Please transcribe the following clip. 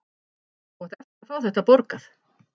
Þú átt eftir að fá þetta borgað!